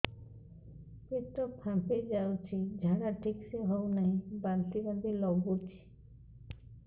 ପେଟ ଫାମ୍ପି ଯାଉଛି ଝାଡା ଠିକ ସେ ହଉନାହିଁ ବାନ୍ତି ବାନ୍ତି ଲଗୁଛି